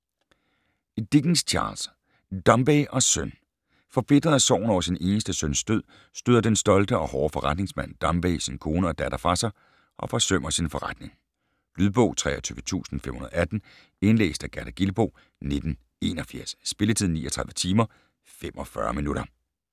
Dickens, Charles: Dombey og søn Forbitret af sorgen over sin eneste søns død støder den stolte og hårde forretningsmand Dombey sin kone og datter fra sig og forsømmer sin forretning. Lydbog 23518 Indlæst af Gerda Gilboe, 1981. Spilletid: 39 timer, 45 minutter.